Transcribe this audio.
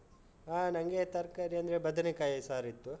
ಹಾ ನಂಗೆ ತರ್ಕಾರಿ ಅಂದ್ರೆ ಬದನೆ ಕಾಯಿಯ ಸಾರಿತ್ತು.